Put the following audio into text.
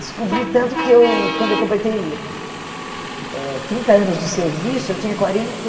Descobri tanto que eu quando eu completei eh trinta anos de serviço, eu tinha quarenta e